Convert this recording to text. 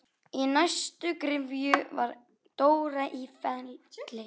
Í næstu gryfju var Dóra í Felli.